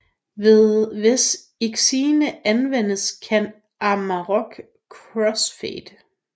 Hvis Xine anvendes kan Amarok crossfade